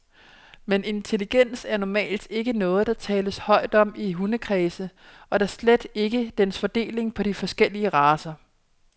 Men intelligens er normalt ikke noget, der tales højt om i hundekredse, og da slet ikke dens fordeling på de forskellige racer.